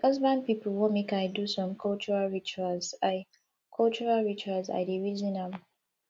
my husband pipo wan make i do some cultural rituals i cultural rituals i dey reason am